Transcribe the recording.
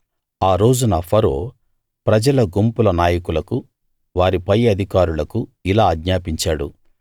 ఆ రోజున ఫరో ప్రజల గుంపుల నాయకులకు వారి పైఅధికారులకు ఇలా ఆజ్ఞాపించాడు